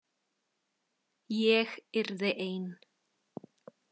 Ég yrði ein.